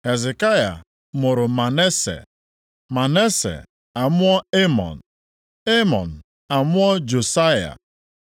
Hezekaya mụrụ Manase, Manase amụọ Emọn, Emọn amụọ Josaya.